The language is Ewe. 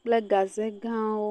kple gaze gãwo.